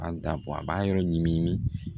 A da bɔ a b'a yɔrɔ ɲimi ɲimi